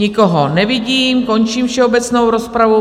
Nikoho nevidím, končím všeobecnou rozpravu.